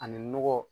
Ani nɔgɔ